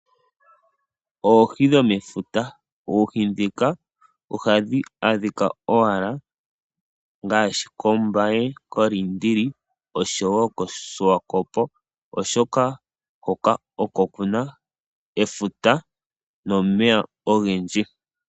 Oohi dhomefuta, oohi ndhika ohadhi adhika owala ngaashi kOmbaye kOliindili oshowo kOsiwakopo oshoka hoka oko kuna efuta nomeya ogendji.